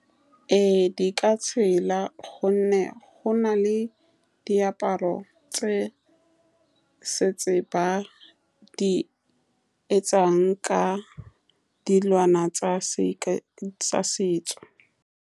Ee, di ka tshela ka gonne go na le diaparo tse setse ba di etsang ka dilwana tsa setso.